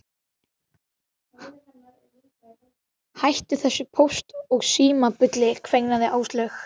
Hættu þessu Póst og Síma bulli kveinaði Áslaug.